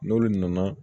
N'olu nana